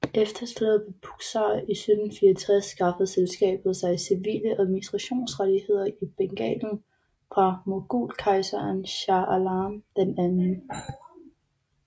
Efter slaget ved Buxar i 1764 skaffede selskabet sig civile administrationsrettigheder i Bengalen fra mogulkejseren Shah Alam II